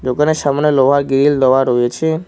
দোকানের সামনে লোহার গ্রিল দেওয়া রয়েছে।